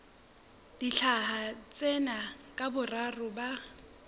dintlha tsena ka boraro ba